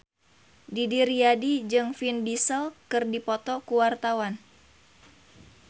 Didi Riyadi jeung Vin Diesel keur dipoto ku wartawan